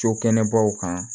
Cokɛnɛbaw kan